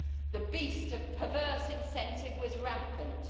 the beast of perverse incentive was rampant.